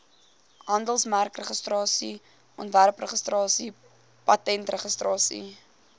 handelsmerkregistrasie ontwerpregistrasie patentregistrasie